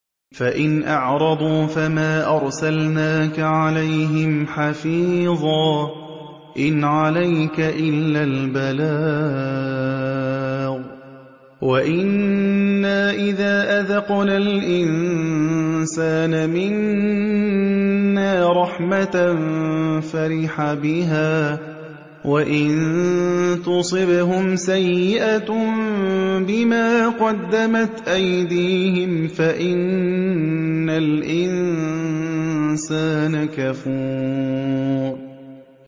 فَإِنْ أَعْرَضُوا فَمَا أَرْسَلْنَاكَ عَلَيْهِمْ حَفِيظًا ۖ إِنْ عَلَيْكَ إِلَّا الْبَلَاغُ ۗ وَإِنَّا إِذَا أَذَقْنَا الْإِنسَانَ مِنَّا رَحْمَةً فَرِحَ بِهَا ۖ وَإِن تُصِبْهُمْ سَيِّئَةٌ بِمَا قَدَّمَتْ أَيْدِيهِمْ فَإِنَّ الْإِنسَانَ كَفُورٌ